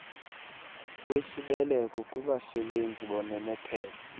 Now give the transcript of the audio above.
wesibeleko kubasebenzi bononophelo